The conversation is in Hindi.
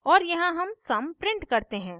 और यहाँ sum sum sum print करते हैं